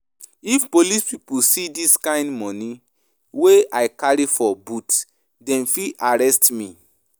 If police pipu see dis kind moni wey I carry for boot, dem fit arrest me.